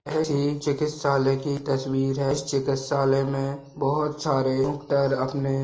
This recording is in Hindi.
चिकित्सालय की तस्वीर है इस चिकित्सालय में बहुत सारे डॉक्टर अपने --